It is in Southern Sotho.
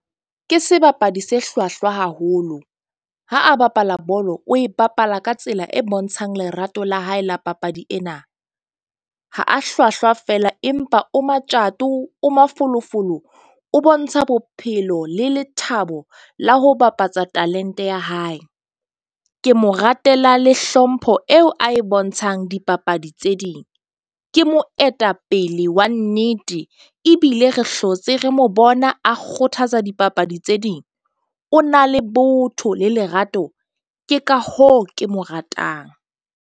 Ke sebapadi se hlwahlwa haholo ha a bapala bolo, o e bapala ka tsela e bontshang lerato la hae la papadi ena. Ha a hlwahlwa fela, empa o matjato, o mafolofolo, o bontsha bophelo le lethabo la ho bapatsa talent-e ya hae. Ke mo ratela le hlompho eo a e bontshang dipapadi tse ding. Ke moetapele pele wa nnete ebile re hlotse, re mo bona a kgothatsa dipapadi tse ding. O na le botho le lerato. Ke ka hoo ke mo ratang.